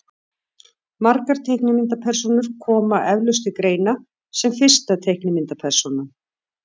margar teiknimyndapersónur koma eflaust til greina sem fyrsta teiknimyndapersónan